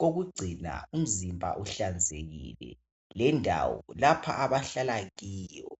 kokugcina umzimba uhlanzekile lendawo lapha abahlala kiyo